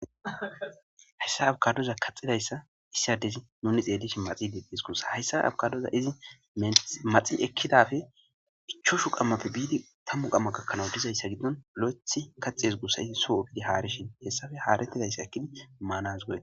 Hayssa abkadoza kaxidayssa issiadezi nuni xeelish maxi deettes gudssa hayssa abkadoza izi maxi ekkidafe ichoshu qammapfe biidi tammu qamma gakkanawu dizayssa giddon olo'ethi kaxees gusa ii soo ugidi haarishin hessafe haarettidayssa ekkini maanas goee